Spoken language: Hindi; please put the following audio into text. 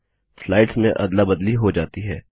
स्लाइड्स में अदला बदली हो जाती है